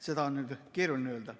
Seda on keeruline öelda.